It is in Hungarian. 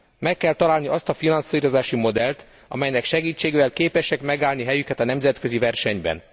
Meg kell találni azt a finanszírozási modellt, amelynek segítségével képesek megállni helyüket a nemzetközi versenyben.